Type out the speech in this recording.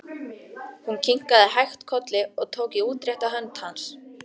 Hún kinkaði hægt kolli og tók í útrétta hönd hans.